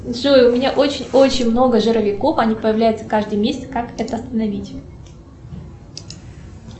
джой у меня очень очень много жировиков они появляются каждый месяц как это остановить